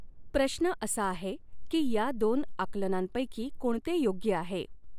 प्रश्न असा आहे की या दोन आकलनांपैकी कोणते योग्य आहे?